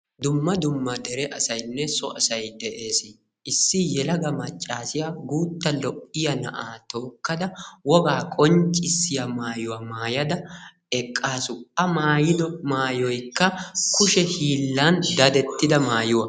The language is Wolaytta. dumma dumma dere asaynne so asay de'ees issi yelaga maccaasiyaa guutta lo'iyaa na'aa tookkada wogaa qonccissiyaa maayuwaa maayada eqqaasu a maayido maayoyikka kushe hiillan dadettida maayuwaa.